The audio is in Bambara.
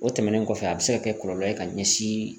O tɛmɛnen kɔfɛ a bɛ se ka kɛ kɔlɔlɔ ye ka ɲɛsin.